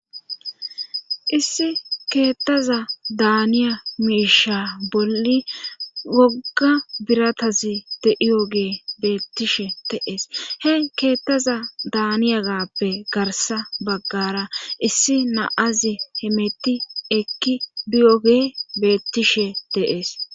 Issi keettaza daaniya miisha bolli wogga biratazi de7iyogee beettishe de'ees he keettaza daaniyagappe garsa baggara issi naaze hemetti ekki biyoge beettishe de'ees.